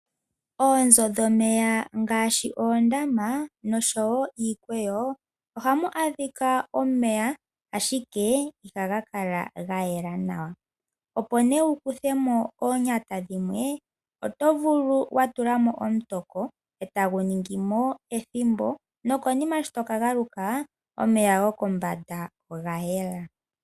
Oonzo dhomeya ngaashi oondama nosho wo iikweyo, ohamu adhika omeya, ashike ihaga kala ga yela nawa. Opo nduno wu kuthe mo oonyata dhimwe oto vulu okutula mo omutoko e tagu ningi mo ethimbo, nokonima shi to ka galuka omeya gokombanda oga yela.